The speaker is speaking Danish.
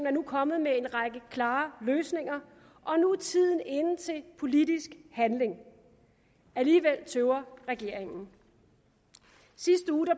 er kommet med en række klare løsninger og nu er tiden inde til politisk handling alligevel tøver regeringen